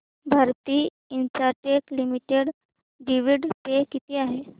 Bharti Infratel limited dividend pay किती आहे